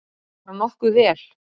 Bara nokkuð vel.